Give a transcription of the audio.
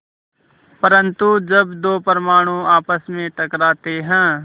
परन्तु जब दो परमाणु आपस में टकराते हैं